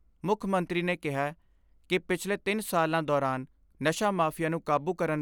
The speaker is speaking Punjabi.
ਮੁੱਖ ਮੰਤਰੀ ਨੇ ਕਿਹੈ ਕਿ ਪਿਛਲੇ ਤਿੰਨ ਸਾਲਾਂ ਦੌਰਾਨ ' ਨਸ਼ਾ ਮਾਫੀਆ ' ਨੂੰ ਕਾਬੂ ਕਰਨ